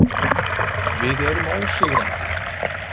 Við erum ósigrandi.